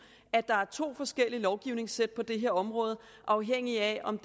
at der er to forskellige lovgivningssæt på det her område afhængig af om